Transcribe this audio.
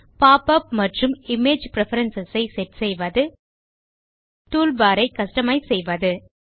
pop up மற்றும் image preference ஐ set செய்வது டூல்பார் ஐ கஸ்டமைஸ் செய்வது